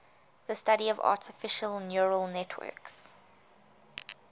the study of artificial neural networks